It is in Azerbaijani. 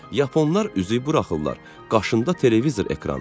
Yaponlar üzü buraxırlar, başında televizor ekranı.